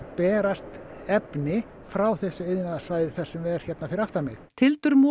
berast frá þessu iðnaðarsvæði sem er hérna fyrir aftan mig